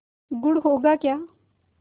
गुड़ होगा क्या